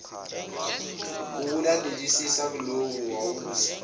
wokulandelisa kuloku wawuthi